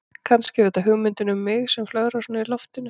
Kannski er þetta hugmyndin um mig sem flögrar svona um í loftinu.